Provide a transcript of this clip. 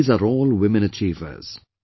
These are all women achievers